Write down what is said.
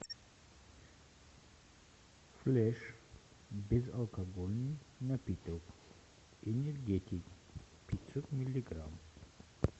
флеш безалкогольный напиток энергетик пятьсот миллиграмм